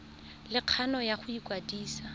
le kgano ya go ikwadisa